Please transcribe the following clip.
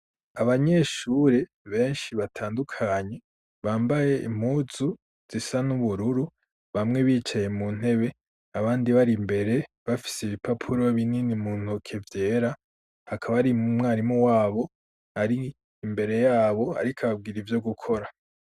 Abanyeshure benshi batandukanyi bambaye impuzu zisa n'ubururu bamwe bicaye mu ntebe abandi bari imbere bafise ibipapuro binini mu ntoke vyera hakaba ari umwarimu wabo ari imbere yabo, ariko babwira ivyo gukora.